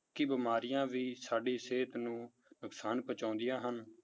ਕਿ ਬਿਮਾਰੀਆਂ ਵੀ ਸਾਡੀ ਸਿਹਤ ਨੂੰ ਨੁਕਸਾਨ ਪਹੁੰਚਾਉਂਦੀਆਂ ਹਨ।